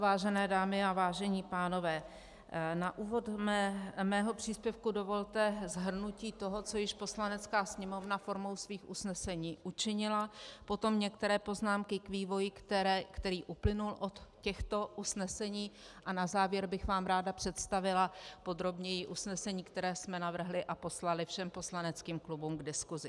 Vážené dámy a vážení pánové, na úvod mého příspěvku dovolte shrnutí toho, co již Poslanecká sněmovna formou svých usnesení učinila, potom některé poznámky k vývoji, který uplynul od těchto usnesení, a na závěr bych vám ráda představila podrobněji usnesení, které jsme navrhli a poslali všem poslaneckým klubům k diskusi.